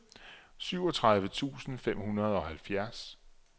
syvogtredive tusind fem hundrede og halvfjerds